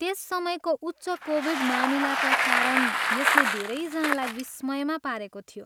त्यस समयको उच्च कोभिड मामिलाका कारण यसले धेरैजनालाई विस्मयमा पारेको थियो।